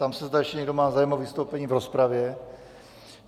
Ptám se, zda ještě někdo má zájem o vystoupení v rozpravě.